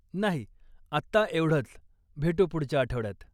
नाही, आत्ता एवढंच, भेटू पुढच्या आठवड्यात.